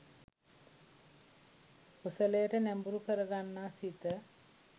කුසලයට නැඹුරු කරගන්නා සිත